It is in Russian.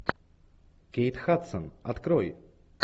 кейт хадсон открой